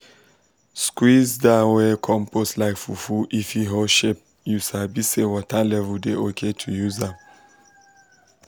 squeeze that wet compost like fufu if e hold shape you sabi say water level dey okay to use am.